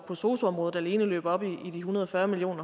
på sosu området alene løber op i en hundrede og fyrre million